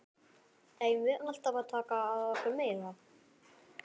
Eigum við alltaf að taka að okkur meira?